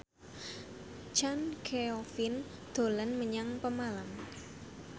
Chand Kelvin dolan menyang Pemalang